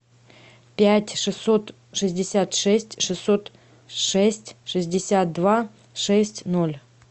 пять шестьсот шестьдесят шесть шестьсот шесть шестьдесят два шесть ноль